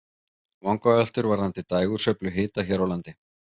Vangaveltur varðandi dægursveiflu hita hér á landi.